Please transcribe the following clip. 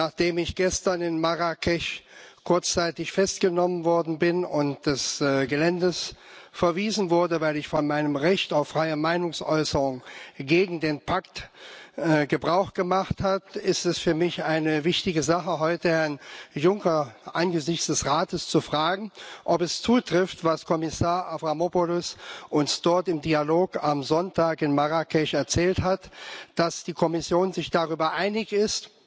Nachdem ich gestern in Marrakesch kurzzeitig festgenommen worden bin und des Geländes verwiesen wurde, weil ich von meinem Recht auf freie Meinungsäußerung gegen den Pakt Gebrauch gemacht habe, ist es für mich eine wichtige Sache, heute Herrn Juncker angesichts des Rats zu fragen, ob es zutrifft, was uns Kommissar Avramopoulos dort im Dialog am Sonntag in Marrakesch erzählt hat dass die Kommission sich darüber einig ist,